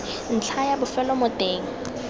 ntlha ya bofelo mo teng